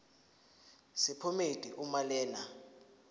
sephomedi uma lena